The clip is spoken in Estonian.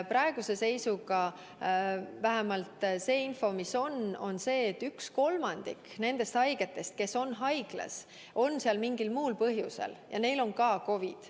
Praeguse seisuga on meil info, et 1/3 nendest haigetest, kes on haiglas, on seal mingil muul põhjusel ja neil on ka COVID.